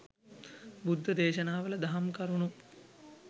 බුද්ධ දේශනාවල දහම් කරුණු